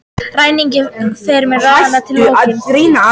Ræninginn fremur ránið rétt fyrir lokun